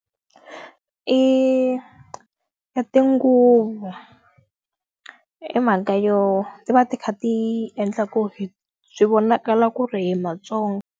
I i tinguvu. Hi mhaka yo ti va ti kha ti endla ku swi vonakala ku ri hi maTsonga.